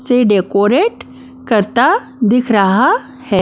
से डेकोरेट करता दिख रहा है।